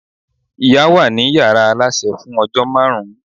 ìyá wa ni yàrá aláṣẹ fún ojó máàrún